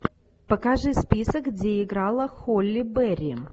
покажи список где играла холли берри